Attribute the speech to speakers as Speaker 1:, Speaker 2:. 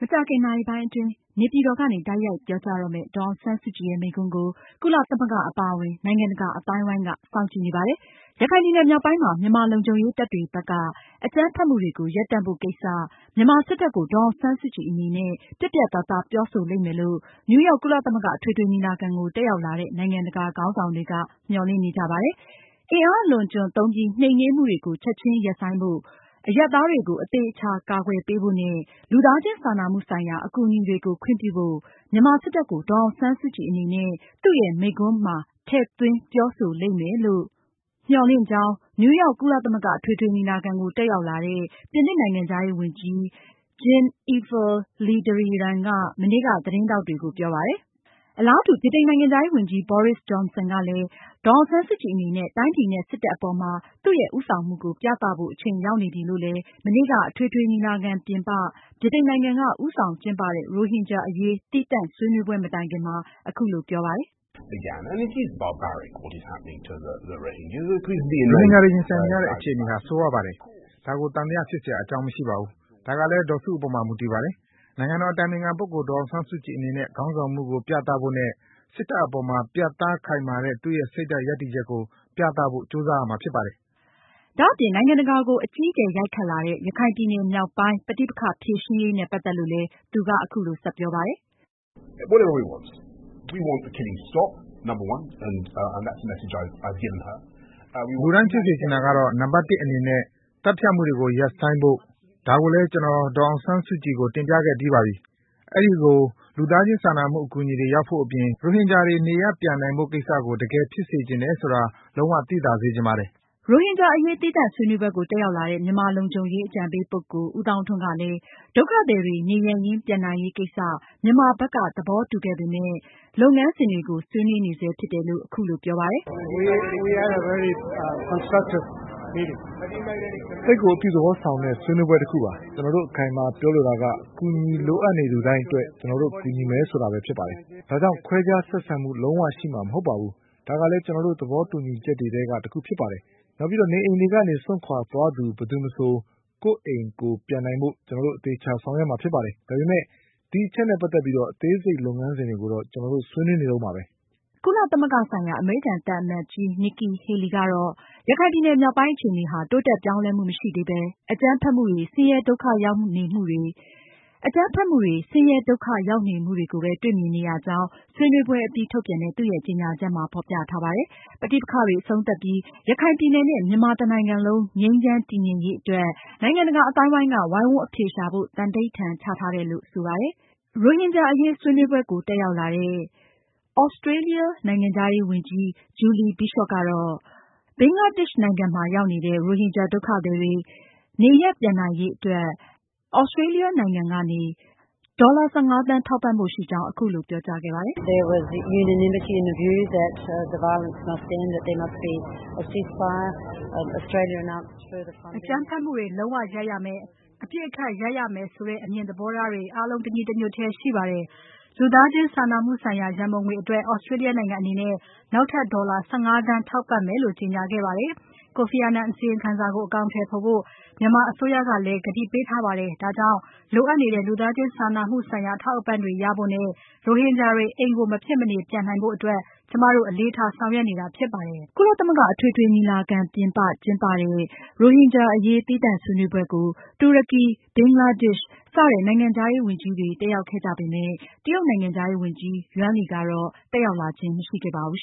Speaker 1: မကြာခင်နာရီပိုင်းအတွင်း နေပြည်တော်ကနေ တိုက်ရိုက်ပြောကြားမယ့် ဒေါ်အောင်ဆန်းစုကြည်ရဲ့ မိန့်ခွန်းကို ကုလသမဂ္ဂအပါအဝင် နိုင်ငံတကာအသိုင်းအဝိုင်းက စောင့်ကြည့်နေပါတယ်။ ရခိုင်ပြည်နယ်မြောက်ပိုင်းမှာ မြန်မာလုံခြုံရေးတပ်တွေဘက်က အကြမ်းဖက်မှုတွေကို ရပ်တန့်ဖို့ ကိစ္စမှာ မြန်မာစစ်တပ်ကို ဒေါ်အောင်ဆန်းစုကြည်အနေနဲ့ ပြတ်ပြတ်သားသားပြောဆိုလိမ့်မယ်လို့ နယူးရောက် ကုလသမဂ္ဂအထွေထွေညီလာခံကို တက်ရောက်လာတဲ့ နိုင်ငံတကာခေါင်းဆောင်တွေက မျှော်လင့်နေကြတာပါ။ အင်အားအလွန်အကျွံသုံးပြီး နှိမ်နင်းမှုတွေကို ချက်ချင်းရပ်ဆိုင်းဖို့၊ အရပ်သားတွေကို အသေအချာ အကာအကွယ်ပေးဖို့နဲ့ လူသားချင်းစာနာမှုဆိုင်ရာ အကူအညီတွေကို ခွင့်ပြုဖို့ မြန်မာစစ်တပ်ကို ဒေါ်အောင်ဆန်းစုကြည်အနေနဲ့ သူရဲ့မိန့်ခွန်းမှာ ထည့်သွင်း ပြောလိမ့်မယ်လို့ မျှော်လင့်ကြောင်း နယူးရောက် ကုလသမဂ္ဂအထွေထွေညီလာခံကို တက်ရောက်လာတဲ့ ပြင်သစ်နိုင်ငံခြားရေးဝန်ကြီး Jean-Yves le Drian ဂျင်အီဖ် လီဒရီရမ်းက မနေ့က သတင်းထောက်တွေကို ပြောပါတယ်။ အလားတူ ဗြိတိန်နိုင်ငံခြားရေးဝန်ကြီး Boris Johnson ကလည်း ဒေါ်အောင်ဆန်းစုကြည်အနေနဲ့ တိုင်းပြည်နဲ့ စစ်တပ်အပေါ်မှာ သူ့ရဲ့ဦးဆောင်မှုကို ပြသဖို့ အချိန်ရောက်နေပြီလို့လည်း မနေ့က အထွေထွေညီလာခံပြင်ပ ဗြိတိန်နိုင်ငံက ဦးဆောင်ကျင်းပတဲ့ ရိုဟင်ဂျာအရေး သီးသန့်ဆွေးနွေးပွဲ မတိုင်ခင်မှာအခုလိုပြောပါတယ်။
Speaker 2: "ရိုဟင်ဂျာတွေရင်ဆိုင်နေရတဲ့အခြေအနေဟာ ဆိုးရွားပါတယ်။ ဒါကို သံသယဖြစ်စရာအကြောင်းမရှိပါဘူး။ ဒါကလည်း ဒေါ်စုအပေါ်မှာ မူတည်ပါတယ်။ နိုင်ငံတော်အတိုင်ပင်ခံပုဂ္ဂိုလ် ဒေါ်အောင်ဆန်းစုကြည်အနေနဲ့ ခေါင်းဆောင်မှုစွမ်းရည် ပြဖို့ နဲ့ စစ်တပ်အပေါ်မှာ ပြတ်သားခိုင်မာတဲ့ သူရဲ့ စိတ်ဓါတ်ရပ်တည်ချက်ကို ပြသဖို့ ကြိုးစားရမှာဖြစ်ပါတယ်
Speaker 1: ။" ဒါအပြင် နိုင်ငံတကာကို အကြီးအကျယ်ရိုက်ခတ်လာတဲ့ ရခိုင်ပြည်နယ်မြောက်ပိုင်း ပဋိပက္ခဖြေရှင်းရေး ပတ်သက်လို့ လည်း သူက အခုလိုဆက်ပြောပါတယ်
Speaker 2: ။ "လူတိုင်းဖြစ်စေချင်တာကတော့ နံပါတ် အနေနဲ့ သတ်ဖြတ်မှုတွေကိုရပ်ပစ်ဖို့ ဒါကိုလည်း ကျနော် ဒေါ်အောင်ဆန်းစုကြည်ကို တင်ပြခဲ့ပြီးပါပြီ။ အဲဒီကို လူသားချင်းစာနာမှုအကူအညီတွေရောက်ဖို့ အပြင် ရိုဟင်ဂျာတွေကို နေရပ်ပြန်နိုင်ဖို့ ကိစ္စကို တကယ် ဖြစ်စေချင်တယ်ဆိုတာ လုံးဝသိသာစေချင်ပါတယ်။
Speaker 1: " ရိုဟင်ဂျာအရေး သီးသန့်ဆွေးနွေးပွဲကို တက်ရောက်လာတဲ့ မြန်မာလုံခြုံရေးအကြံပေးပုဂ္ဂိုလ် ဦးသောင်းထွန်းကလည်း ဒုက္ခသည်တွေ နေရပ်ရင်းပြန်နိုင်ရေးကိစ္စ မြန်မာဘက်က သဘောတူခဲ့ပေမယ့် လုပ်ငန်းစဉ်တွေကို ဆွေးနွေးနေဆဲဖြစ်တယ်လို့ အခုလိုပြောပါတယ်
Speaker 2: ။ "သိပ်ကိုအပြုသဘောဆောင်တဲ့ ဆွေးနွေးပွဲတခုပါ။ ကျနော်တို့ အခိုင်အမာပြောလိုတာက အကူအညီလိုအပ်နေသူတိုင်းအတွက် ကျနော်တို့ ကူညီမယ်ဆိုတာဖြစ်ပါတယ်။ ဒါကြောင့် ခွဲခြားဆက်ဆံမှုလုံးဝရှိမှာမဟုတ်ပါဘူး။ ဒါကလည်း ကျနော်တို့ သဘောတူညီချက်တွေထဲက တခုဖြစ်ပါတယ်။ နောက်ပြီး နေအိမ်တွေကနေ စွန့်ခွာသွားသူ မည်သူမဆို ကိုယ့်အိမ်ကိုယ် ပြန်နိုင်ဖို့ ကျနော်တို့ အသေအချာဆောင်ရွက်မှာဖြစ်ပါတယ်။ ဒါပေမယ့် ဒီအချက်နဲ့ ပတ်သက်လို့ အသေးစိတ်လုပ်ငန်းစဉ်တွေကိုတော့ ကျနော်တို့ ဆွေးနွေးနေဆဲဖြစ်ပါတယ်။"
Speaker 1: ကုလသမဂ္ဂဆိုင်ရာ အမေရိကန်သံအမတ်ကြီး Nikki Haley ကတော့ ရခိုင်ပြည်နယ်မြောက်ပိုင်းအခြေအနေဟာ တိုးတက်ပြောင်းလဲမှုမရှိသေးပဲ အကြမ်းဖက်မှုတွေ၊ ဆင်းရဲဒုက္ခရောက်နေမှုတွေကိုပဲ တွေ့မြင်နေရကြောင်း ဆွေနွေးပွဲအပြီးထုတ်ပြန်တဲ့ သူရဲ့ ကြေညာချက်မှာဖေါ်ပြထားပါတယ်။ ပဋိပက္ခတွေအဆုံးသတ်ပြီး ရခိုင်ပြည်နယ်နဲ့ မြန်မာတနိုင်ငံလုံး ငြိမ်းချမ်း တည်ငြိမ်ရေးအတွက် နိုင်ငံတကာအသိုင်းအဝိုင်းက ဝိုင်းဝန်းအဖြေရှာဖို့ သံဓိဌာန်ချထားကြောင်းလည်း ရေးသားထားပါတယ်။ သြစတြေးလျနိုင်ငံခြားရေးဝန်ကြီး ဂျူလီဘီရှော့ကတော့ ရိုဟင်ဂျာဒုက္ခသည်တွေ နေရပ်ပြန်နိုင်ရေး ဒေါ်လာ ၁၅ သန်းနောက်ထပ် ထောက်ပံဖို့ရှိကြောင်း ဆွေးနွေးပွဲအပြီး သတင်းထောက်တွေကို အခုလိုပြောသွားပါတယ်။ "အကြမ်းဖက်မှုတွေလုံးဝရပ်ရမယ် အပစ်အခက်ရပ်ရမယ်ဆိုတဲ့ အမြင်သဘောထားတွေ အားလုံးတညီတညွှတ်တည်းရှိပါတယ်။ လူသားချင်းစာနာမှုဆိုင်ရာရန်ပုံငွေအတွက် သြစတြေးလျနိုင်ငံအနေနဲ့ နောက်ထပ်ဒေါ်လာ ၁၅ သန်းထောက်ပံ့မယ်လို့ ကြေညာခဲ့ပါတယ်။ ကိုဖီအာနန်အစီရင်ခံစာကို အကောင်အထည်ဖော်ဖို့ မြန်မာအစိုးရကလည်း ကတိပေးထားပါတယ်။ ဒါကြောင့်လိုအပ်နေတဲ့ လူသားချင်းစာနာမှုဆိုင်ရာ အထောက်အပံ့တွေရဖို့နဲ့ ရိုဟင်ဂျာတွေ အိမ်ကိုမဖြစ်မနေပြန်နိုင်ဖို့အတွက် ကျမတို့ အလေးထားဆောင်ရွက်နေတာဖြစ်ပါတယ်။" ကုလသမဂ္ဂ အထွေထွေညီလာခံ ပြင်ပမှာကျင်းပတဲ့ရိုဟင်ဂျာအရေး သီးသန့်ဆွေးနွေးပွဲကိုတော့ တူရကီ၊ ဘင်္ဂလားဒေ့ရှ် စတဲ့နိုင်ငံခြားရေးဝန်ကြီးတွေတက်ရောက်ခဲ့ကြပေမယ့် တရုတ်နိုင်ငံခြားရေးဝန်ကြီး ယွမ်လီကတော့ တက်ရောက်လာခြင်းမရှိခဲ့ပါဘူး